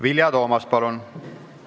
Vilja Toomast, palun!